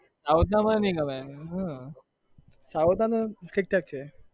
south મને નહિ ગમે હ south ના તો ઠીકઠાક છે.